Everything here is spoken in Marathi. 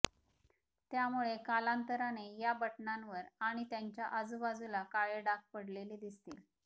त्यामुळे कालांतराने या बटणांवर आणि त्यांच्या आजूबाजूला काळे डाग पडलेले दिसतील